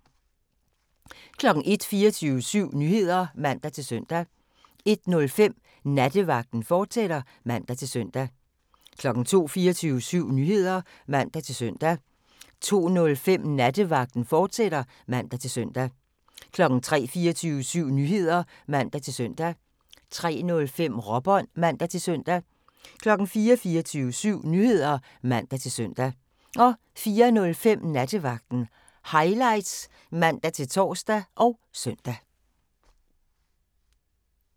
01:00: 24syv Nyheder (man-søn) 01:05: Nattevagten, fortsat (man-søn) 02:00: 24syv Nyheder (man-søn) 02:05: Nattevagten, fortsat (man-søn) 03:00: 24syv Nyheder (man-søn) 03:05: Råbånd (man-søn) 04:00: 24syv Nyheder (man-søn) 04:05: Nattevagten Highlights (man-tor og søn)